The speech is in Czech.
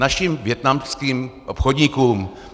Našim vietnamským obchodníkům.